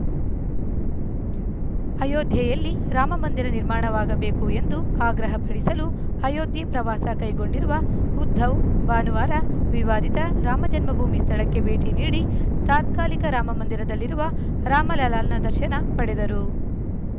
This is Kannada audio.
ಅಯೋಧ್ಯೆಯಲ್ಲಿ ರಾಮಮಂದಿರ ನಿರ್ಮಾಣವಾಗಬೇಕು ಎಂದು ಆಗ್ರಹಪಡಿಸಲು ಅಯೋಧ್ಯೆ ಪ್ರವಾಸ ಕೈಗೊಂಡಿರುವ ಉದ್ಧವ್‌ ಭಾನುವಾರ ವಿವಾದಿತ ರಾಮಜನ್ಮಭೂಮಿ ಸ್ಥಳಕ್ಕೆ ಭೇಟಿ ನೀಡಿ ತಾತ್ಕಾಲಿಕ ರಾಮಮಂದಿರದಲ್ಲಿರುವ ರಾಮಲಲ್ಲಾನ ದರ್ಶನ ಪಡೆದರು